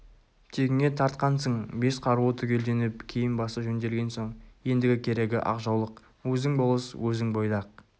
тегіңе тартқансың бес қаруы түгелденіп киім-басы жөнделген соң ендігі керегі ақ жаулық өзің болыс өзің бойдақ